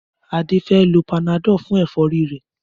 Adé fé lo panadol fún èfórí rè